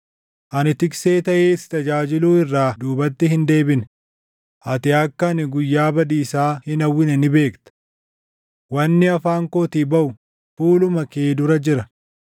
Ani tiksee taʼee si tajaajiluu irraa duubatti hin deebine; ati akka ani guyyaa badiisaa hin hawwine ni beekta. Wanni afaan kootii baʼu fuuluma kee dura jira.